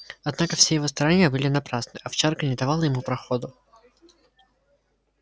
однако все его старания были напрасны овчарка не давала ему проходу